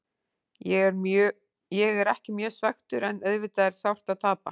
Ég er ekki mjög svekktur en auðvitað er sárt að tapa.